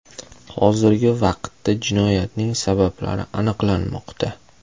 Hozirgi vaqtda jinoyatning sabablari aniqlanmoqda.